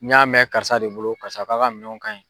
N'a mɛn karisa de bolo karisa ko a ka minɛnw ka ɲi.